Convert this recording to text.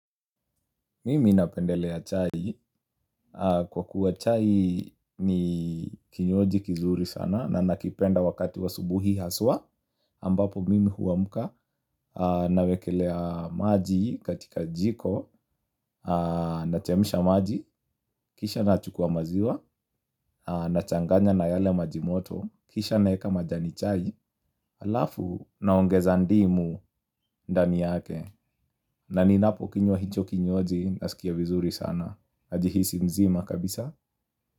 Mimi napendelea chai kwa kuwa chai ni kinywaji kizuri sana, na nakipenda wakati wa asubuhi haswa. Ambapo mimi huwamka nawekelea maji katika jiko na chemisha maji. Kisha na chukua maziwa na changanya na yale majimoto. Kisha naeka majani chai halafu naongeza ndimu ndani yake. Na ninapo kinywa hicho kinywaji nasikia vizuri sana. Najihisi mzima kabisa.